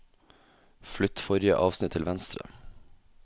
Flytt forrige avsnitt til venstre